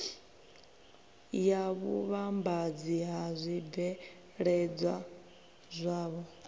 ya vhuvhambadzi ha zwibveledzwa zwavho